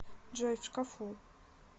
джой в шкафу